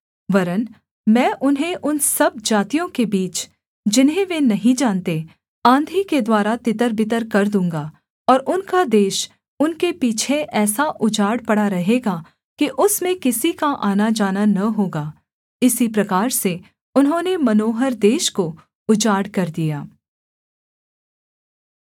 वरन् मैं उन्हें उन सब जातियों के बीच जिन्हें वे नहीं जानते आँधी के द्वारा तितरबितर कर दूँगा और उनका देश उनके पीछे ऐसा उजाड़ पड़ा रहेगा कि उसमें किसी का आनाजाना न होगा इसी प्रकार से उन्होंने मनोहर देश को उजाड़ कर दिया